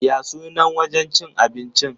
Ya sunan wajen cin abincin?